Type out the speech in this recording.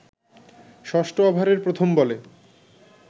ষষ্ঠ ওভারের প্রথম বলে